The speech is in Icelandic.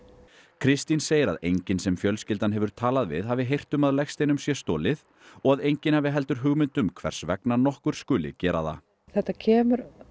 Kristín segir að enginn sem fjölskyldan hefur talað við hafi heyrt um að legsteinum sé stolið og að enginn hafi heldur hugmynd um hvers vegna nokkur skuli gera það þetta kemur